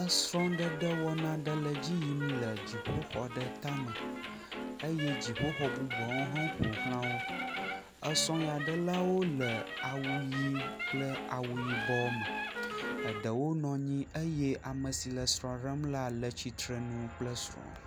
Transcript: Esrɔ̃ɖeɖe wɔna aɖe le edzi yim le dzixɔ aɖe tame eye dziƒoxɔ bubuawo hã woƒo xla wo. Esrɔ̃ ya ɖelawo le awu ʋɛ̃ kple awu yibɔ me. Eɖewo nɔ anyi eye ame si le srɔ̃ ɖem la le tsitrenu kple srɔ̃.